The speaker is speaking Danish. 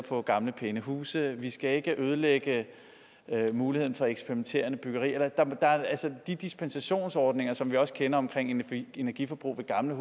på gamle pæne huse vi skal ikke ødelægge muligheden for eksperimenterende byggerier de dispensationsordninger som vi også kender omkring energiforbrug ved gamle